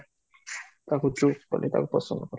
କାହାକୁ ପସନ୍ଦ ହବ